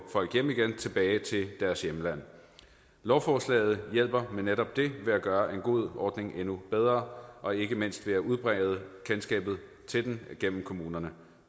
hjem igen tilbage til deres hjemland lovforslaget hjælper med netop det ved at gøre en god ordning endnu bedre og ikke mindst ved at udbrede kendskabet til den gennem kommunerne